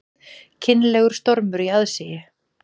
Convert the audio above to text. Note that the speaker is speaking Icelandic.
Kynlegur stormur í aðsigi